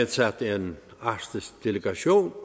til ordføreren så